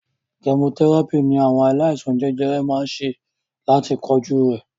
Kẹmotẹ́ràpì ní àwọn aláìsàn jẹjẹrẹ máa ń ṣe láti kojú rẹ̀.